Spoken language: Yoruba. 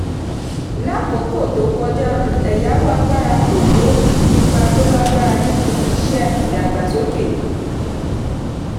lákòókò tó kọjá um ẹ̀yàwó agbára kò kó um ipa tó lágbára nínú iṣẹ́ ìdàgbàsókè.